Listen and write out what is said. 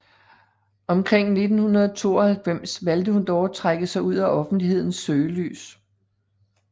Omkring 1992 valgte hun dog at trække sig ud af offentlighedens søgelys